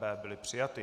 B byly přijaty.